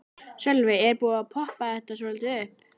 Sölvi: Er búið að poppa þetta svolítið upp?